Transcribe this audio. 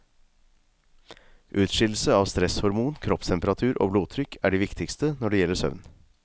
Utskillelse av stresshormon, kroppstemperatur og blodtrykk er de viktigste når det gjelder søvn.